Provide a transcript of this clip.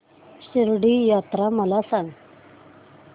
शिर्डी यात्रा मला सांग